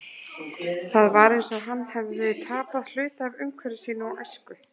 Það var eins og hann hefði tapað hluta af umhverfi sínu og æsku.